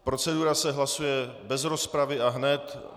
Procedura se hlasuje bez rozpravy a hned.